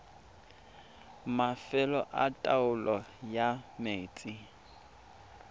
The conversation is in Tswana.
mafelo a taolo ya metsi